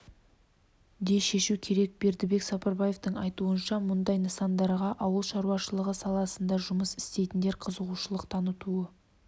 де шешу керек бердібек сапарбаевтың айтуынша мұндай нысандарға ауыл шаруашылығы саласында жұмыс істейтіндер қызығушылық танытуы